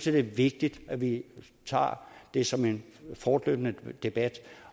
er det vigtigt at vi tager det som en fortløbende debat